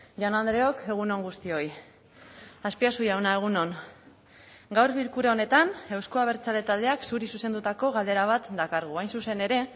jaun andreok egun on guztioi azpiazu jauna egun on gaur bilkura honetan euzko abertzale taldeak zuri zuzendutako galdera bat dakargu hain zuzen ere